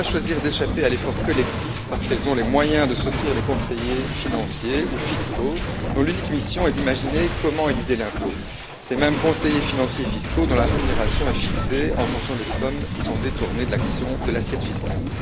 ne peuvent pas choisir d'échapper à l'effort collectif simplement parce qu'elles ont les moyens de s'offrir des conseillers financiers ou fiscaux dont l'unique mission est d'imaginer comment éluder l'impôt ces mêmes conseillers financiers fiscaux dont la rémunération est fixée en fonction des sommes qui sont détournées de l'assiette fiscale.